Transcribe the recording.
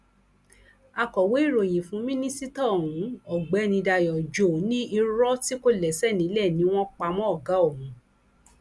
akọwé ìròyìn fún mínísítà ohun ọgbẹni dayo joe ní irọ tí kò lẹsẹ nílẹ ni wọn pa mọ ọgá òun